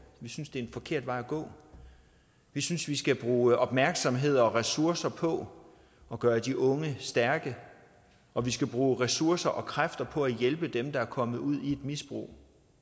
vi synes det er en forkert vej at gå vi synes vi skal bruge opmærksomhed og ressourcer på at gøre de unge stærke og vi skal bruge ressourcer og kræfter på at hjælpe dem der er kommet ud i et misbrug